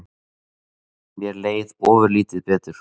Mér leið ofurlítið betur.